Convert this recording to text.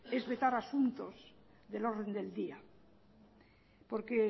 es vetar asuntos del orden del día porque